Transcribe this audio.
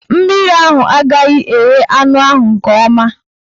Mmiri ahụ agaghị eghe anụ ahụ nke ọma.